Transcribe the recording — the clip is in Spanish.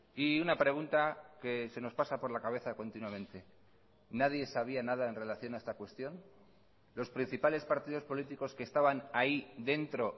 y una pregunta que se nos pasa por la cabeza continuamente nadie sabía nada en relación a esta cuestión los principales partidos políticos que estaban ahí dentro